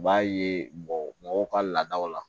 U b'a ye bɔ mɔgɔw ka laadaw la